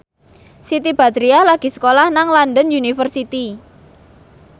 Siti Badriah lagi sekolah nang London University